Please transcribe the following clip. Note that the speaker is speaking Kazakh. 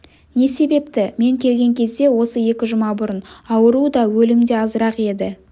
не себепті мен келген кезде осы екі жұма бұрын ауру да өлім де азырақ еді